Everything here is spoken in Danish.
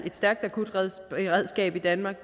akutberedskab i danmark